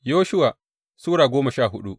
Yoshuwa Sura goma sha hudu